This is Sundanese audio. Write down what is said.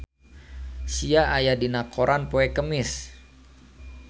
Sia aya dina koran poe Kemis